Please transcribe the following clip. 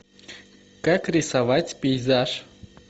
как рисовать пейзаж